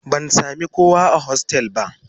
Ban sami kowa a hostel ba